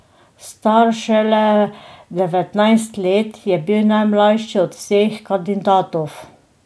Star šele devetnajst let je bil najmlajši od vseh kandidatov.